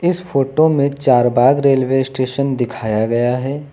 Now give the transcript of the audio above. इस फोटो में चारबाग रेलवे स्टेशन दिखाया गया है।